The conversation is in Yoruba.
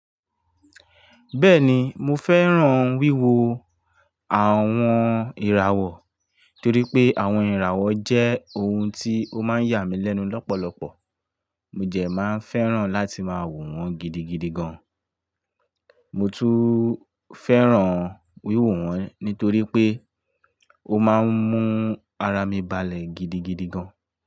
Bẹ́ẹ̀ni, mo fẹ́ràn wíwo àwon ìràwọ̀ torí pé àwon ìràwọ̀ jẹ́ oun tí ó máa ń yà mí lẹ́nu lọ́pọ̀lọpọ̀. Mo dẹ máa ń fẹ́ràn láti máa wò wọ́n gidigidi gan. Mo tún fẹ́ràn wíwo wọ́n nítorí pé ó máa ń mú ara mi balẹ̀ gidigidi gan.